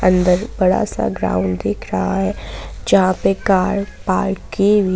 अंदर बड़ा सा ग्राउंड दिख रहा है जहां पे कार पार्क की हुई--